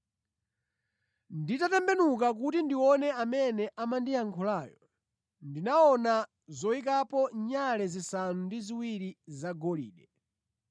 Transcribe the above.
Nditatembenuka kuti ndione amene amandiyankhulayo, ndinaona zoyikapo nyale zisanu ndi ziwiri zagolide.